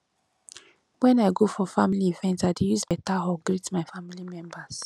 wen i go for family event i dey use beta hug greet my family members